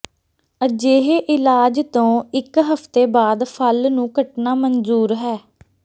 ਅਜਿਹੇ ਇਲਾਜ ਤੋਂ ਇਕ ਹਫ਼ਤੇ ਬਾਅਦ ਫਲ ਨੂੰ ਕੱਟਣਾ ਮਨਜ਼ੂਰ ਹੈ